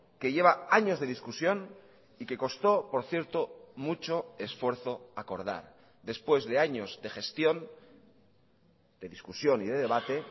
que lleva años de discusión y que costó por cierto mucho esfuerzo acordar después de años de gestión de discusión y de debate